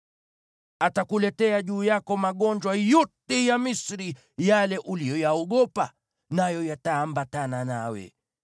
Atakuletea juu yako magonjwa yote ya Misri yale uliyoyaogopa, nayo yataambatana nawe.